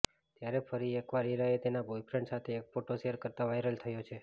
ત્યારે ફરી એક વાર ઇરાએ તેના બોયફ્રેન્ડ સાથે એક ફોટો શેર કરતા વાયરલ થયો છે